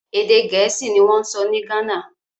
Èdè Gẹ̀ẹ́sì ni wọ́n ń sọ ní Ghana